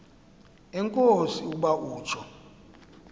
enkosi ukuba utsho